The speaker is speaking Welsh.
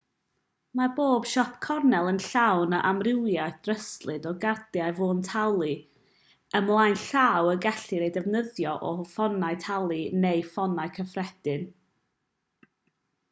mae pob siop gornel yn llawn o amrywiaeth ddryslyd o gardiau ffôn talu ymlaen llaw y gellir eu defnyddio o ffonau talu neu ffonau cyffredin